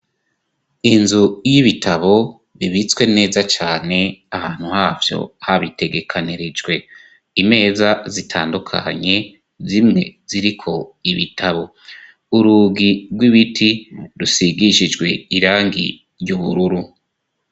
inzu y'ibitabo ibitswe neza cane ahantu havyo habitegekanirijwe imeza zitandukanye zimwe ziriko ibitabo urugi rw'ibiti rusigishijwe irangi ry'ubururu